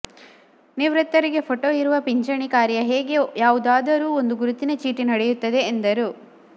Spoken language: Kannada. ನಿವೃತ್ತರಿಗೆ ಪೋಟೋ ಇರುವ ಪಿಚಂಣಿ ಕಾರ್ಯ ಹೇಗೆ ಯಾವುದಾರರೂ ಒಂದು ಗುರುತಿನ ಚೀಟಿ ನಡೆಯುತ್ತದೆ ಎಂದರು